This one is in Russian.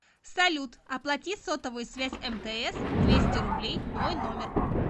салют оплати сотовую связь мтс двести рублей мой номер